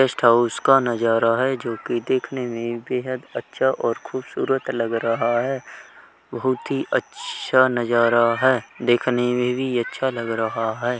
Guest house का नजारा है जोकि देखने में बेहद अच्छा और खूबसूरत लग रहा है। बोहुत ही अच्छा नजारा है। देखने में भी अच्छा लग रहा है।